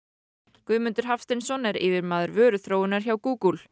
Guðmundur Hafsteinsson er yfirmaður vöruþróunar hjá Google